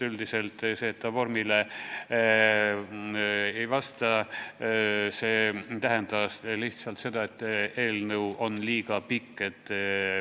Väide, et eelnõu ei vasta vorminõutele, lähtus lihtsalt sellest, et eelnõu oli liiga pikk.